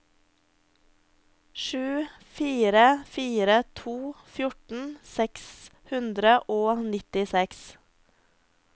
sju fire fire to fjorten seks hundre og nittiseks